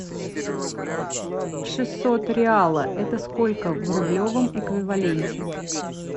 шестьсот реала это сколько в рублевом эквиваленте